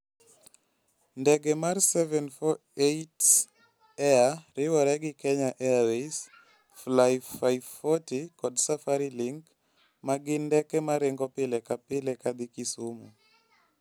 Ndege mar 748 Air riwore gi Kenya Airways, Fly540 kod Safari Link, ma gin ndeke ma ringo pile ka pile ka dhi Kisumu.